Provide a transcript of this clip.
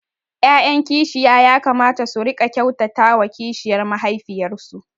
’ya’yan kishiya ya kamata su riƙa kyautata wa kishiyar mahaifiyarsu